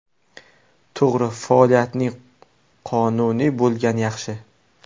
To‘g‘ri, faoliyatning qonuniy bo‘lgani yaxshi.